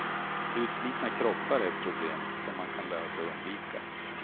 Utslitna kroppar är ett problem, som man kan lära sig undvika.